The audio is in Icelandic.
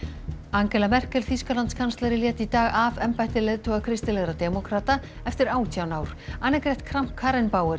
Angela Merkel Þýskalandskanslari lét í dag af embætti leiðtoga kristilegra demókrata eftir átján ár annegret Kramp